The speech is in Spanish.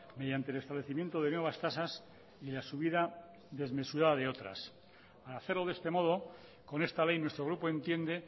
mediante el establecimiento de nuevas tasas y la subida desmesurada de otras al hacerlo de este modo con esta ley nuestro grupo entiende